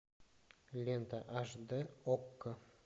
лента аш дэ окко